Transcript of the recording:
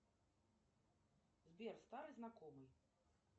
сбер старый знакомый